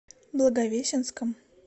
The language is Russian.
благовещенском